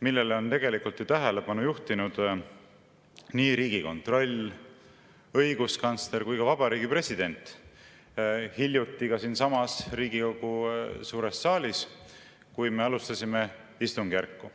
millele on tähelepanu juhtinud nii Riigikontroll, õiguskantsler kui ka president hiljuti siinsamas Riigikogu suures saalis, kui me alustasime istungjärku.